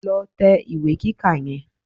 Lọ tẹ ìwé kíkà yẹn